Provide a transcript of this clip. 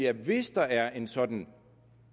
at hvis der er en sådan